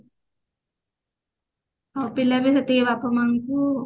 ସେତେବେଳେ ବାପା ମାଙ୍କୁ